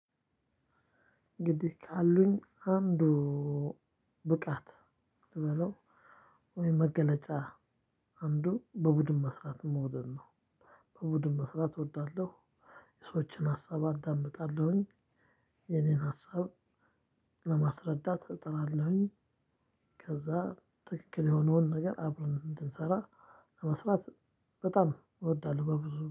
ግድ ካሉኝ አንዱ ብቃት ብለው ወይ መገለጫ አንዱ በቡድን መስራት መውደድ ነው። በቡድን መስራት እወዳለሁ የሰዎችን ሀሳብ አዳምጣለሁኝ የኔን ሀሳብ ለማስረዳት እጥራላሁኝ። ከዛ ትክክል የሆነውን ነገር አብረን እንድንሰራ ለመስራት በጣም እወዳለሁ በብዙ